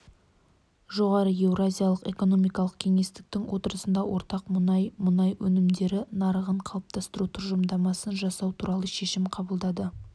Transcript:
жоғары еуразиялық экономикалық кеңестің отырысында ортақ мұнай мұнай өнімдері нарығын қалыптастыру тұжырымдамасын жасау туралы шешім қабылдады